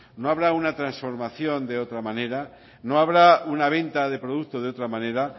no habrá una transformación de otra manera no habrá una venta de producto de otra manera